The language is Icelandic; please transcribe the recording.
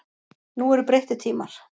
Nú eru breyttir tímar.